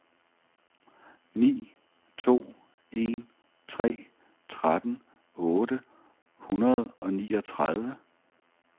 ni to en tre tretten otte hundrede og niogtredive